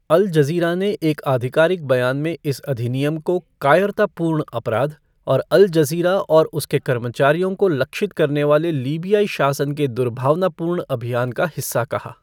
अल Jazeera ने एक आधिकारिक बयान में, इस अधिनियम को 'कायरतापूर्ण अपराध' और 'अल जज़ीरा और उसके कर्मचारियों को लक्षित करने वाले लीबियाई शासन के दुर्भावनापूर्ण अभियान का हिस्सा' कहा।